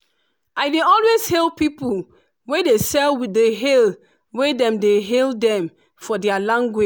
i dey always hail people wey dey sell with the hail wey dem dey hail dem for their language